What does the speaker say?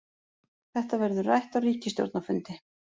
Þetta verður rætt á ríkisstjórnarfundi